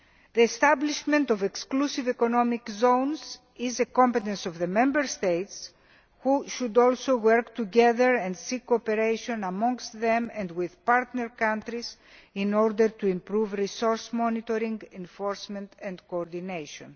The establishment of exclusive economic zones is a competence of the Member States, who should also work together on sea cooperation amongst themselves and with partner countries, in order to improve resource monitoring, enforcement and coordination.